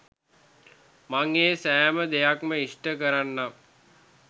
මං ඒ සෑම දෙයක්ම ඉෂ්ට කරන්නම්.